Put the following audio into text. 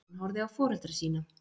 Hann horfði á foreldra sína.